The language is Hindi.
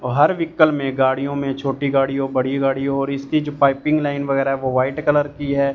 बाहर व्हीकल में गाड़ियों में छोटी गाड़ियों बड़ी गाड़ियों और इसकी जो पाइपिंग लाइन वगैरा वो वाइट कलर की है।